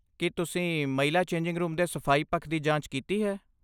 ਕੀ ਤੁਸੀਂ ਮਹਿਲਾ changing room ਦੇ ਸਫਾਈ ਪੱਖ ਦੀ ਜਾਂਚ ਕੀਤੀ ਹੈ?